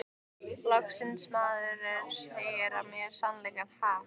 Loksins maður sem segir mér sannleikann, ha?